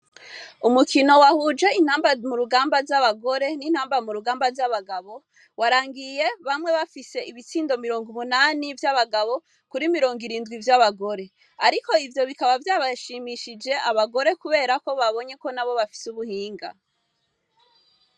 Umukino wahuje intamba mu rugamba z'abagore n'intamba mu rugamba z'abagabo warangiye bamwe bafise ibitsindo mirongo umunani vy'abagabo kuri mirongo irindwi vy' abagore, ariko ivyo bikaba vyabashimishije abagore, kubera ko babonye ko na bo bafise ubuhinga.